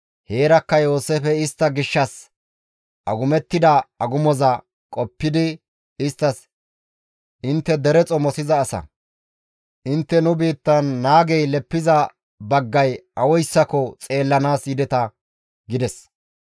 Heerakka Yooseefey istta gishshas agumettida agumoza qoppidi isttas, «Intte dere xomosiza asa; intte nu biittan naagey leppiza baggay awayssako xeellanaas yideta» gides.